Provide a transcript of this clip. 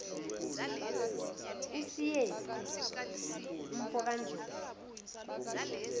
usiyephu umfo kandlovu